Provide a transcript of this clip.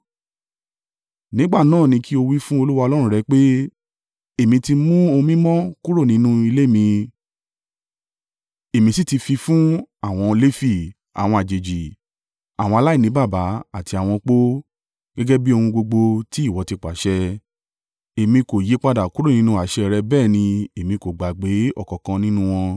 Nígbà náà ní kí o wí fún Olúwa Ọlọ́run rẹ pé, “Èmi ti mú ohun mímọ́ kúrò nínú ilé mi, èmi sì ti fi fún àwọn Lefi, àwọn àjèjì, àwọn aláìní baba àti àwọn opó, gẹ́gẹ́ bí ohun gbogbo tí ìwọ ti pàṣẹ. Èmi kò yípadà kúrò nínú àṣẹ rẹ bẹ́ẹ̀ ni èmi kò gbàgbé ọ̀kankan nínú wọn.